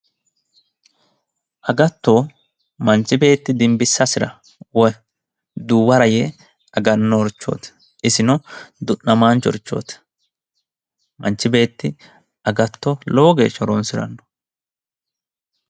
Agatto, manchi beetti dimbisasira woyi duuwara yee aganorichoti ,isino du'namachorichoti ,manchi beetti agatto lowo geeshsha horonsirano.